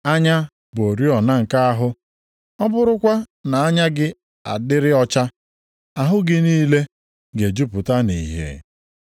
“Anya bụ oriọna nke anụ ahụ. Ọ bụrụkwa na anya gị adịrị ọcha, ahụ gị niile ga-ejupụta nʼìhè.